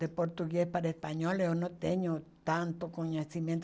De português para espanhol eu não tenho tanto conhecimento.